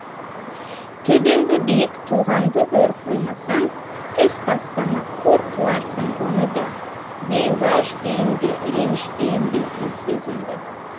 төбеңді биік тұлғаңды өр қоймасаң іс бастама қор қыларсың оны да дей уәж дейін бе реніш дейін бе бұл сөзімді